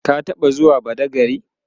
ka taɓa zuwa badagry?